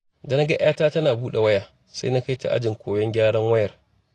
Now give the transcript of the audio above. Da na ga 'yata tana buɗe waya, sai na kai ta ajin koyon gyaran wayar.